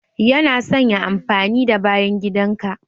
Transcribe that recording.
Yana son ya amfani da bayan gidan ka.